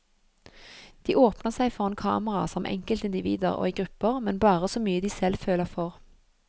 De åpner seg foran kamera som enkeltindivider og i grupper, men bare så mye de selv føler for.